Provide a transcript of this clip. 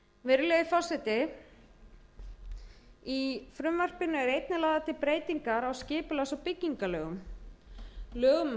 virðulegi forseti í frumvarpinu eru einnig lagðar til breytingar á skipulags og byggingarlögum lögum um